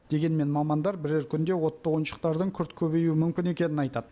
дегенмен мамандар бірер күнде отты ойыншықтардың күрт көбеюі мүмкін екенін айтады